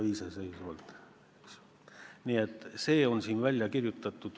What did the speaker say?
See kõik on siin ka üheselt välja kirjutatud.